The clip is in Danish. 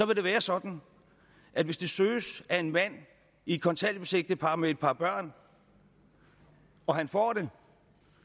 det være sådan at hvis den søges af en mand i et kontanthjælpsægtepar med et par børn og han får den